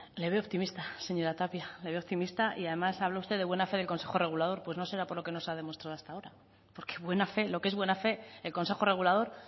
le veo optimista señora tapia le veo optimista y además habla usted de buena fe en consejo regulador pues no será por lo que nos ha demostrado hasta ahora porque buena fe lo que es buena fe el consejo regulador